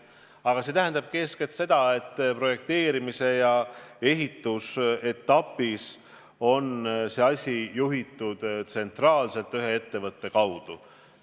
Aga see tähendabki eeskätt seda, et projekteerimise ja ehituse etapis on see asi juhitud tsentraalselt ühe ettevõtte kaudu.